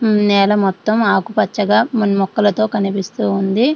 హు నేల మొత్తం ఆకుపచ్చగా మా-మొక్కలతో కనిపిస్తూ ఉంది.